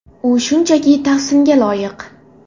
U shunchaki tahsinga loyiq.